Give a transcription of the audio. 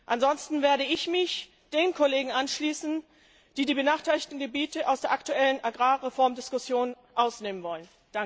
Ansonsten werde ich mich den Kollegen anschließen, die die benachteiligten Gebiete aus der aktuellen Agrarreformdiskussion ausnehmen wollen.